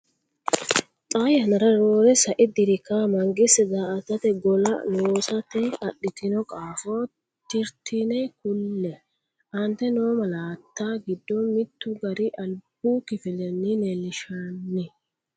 Xaa yannara roore sai diri kawa mangiste daa”atate gola lossate adhitino qaafo tittirtine kulle, Aante noo malaatta giddo mittu gari albu kifilenni leellinshanni?